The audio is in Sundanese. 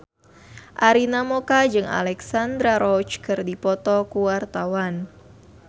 Arina Mocca jeung Alexandra Roach keur dipoto ku wartawan